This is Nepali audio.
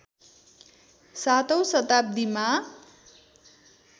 सातौं शताब्दीमा